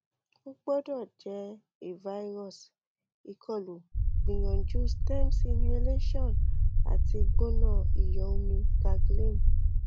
o gbọdọ jẹ a virus ikolu gbiyanju stems inhalation ati gbona iyọ omi gargling